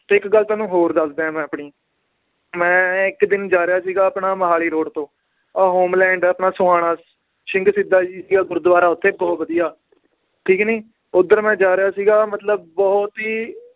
ਤੇ ਇੱਕ ਗੱਲ ਤੁਹਾਨੂੰ ਹੋਰ ਦੱਸਦਾਂ ਏ ਮੈ ਆਪਣੀ, ਮੈ ਇੱਕ ਦਿਨ ਜਾ ਰਿਹਾ ਸੀਗਾ ਆਪਣਾ ਮੋਹਾਲੀ road ਤੋਂ ਆਹ ਹੋਮਲੈਂਡ ਆਪਣਾ ਸੋਹਾਣਾ ਸਿੰਘ ਸ਼ਹੀਦਾਂ ਜੀ ਦਾ ਗੁਰੂਦਵਾਰਾ ਓਥੇ ਬਹੁਤ ਵਧੀਆ ਠੀਕ ਨੀ ਓਧਰ ਮੈ ਜਾ ਰਿਹਾ ਸੀਗਾ ਮਤਲਬ ਬਹੁਤ ਹੀ